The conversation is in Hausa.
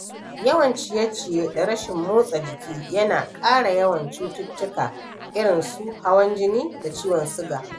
Yawan ciye-ciye da rashin motsa jiki yana ƙara yawan cututtuka irin su hawan jini da ciwon suga.